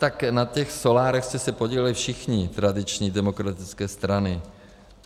Tak na těch solárech jste se podíleli všichni, tradiční demokratické strany.